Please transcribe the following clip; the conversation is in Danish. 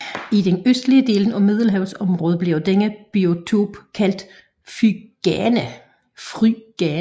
I den østlige del af middelhavsområdet bliver denne biotop kaldt phrygana